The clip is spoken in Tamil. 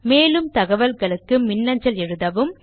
மேலும் தகவல்களுக்கு தொடர்பு கொள்ளவும்